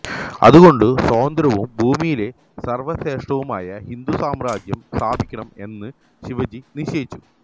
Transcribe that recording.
അതുകൊണ്ട് സ്വതന്ത്രവും ഭൂമിയിലെ സര്വ്വശ്രേഷ്ഠവുമായ ഹിന്ദുസാമ്രാജ്യം സ്ഥാപിക്കണം എന്ന് ശിവാജി നിശ്ചയിച്ചു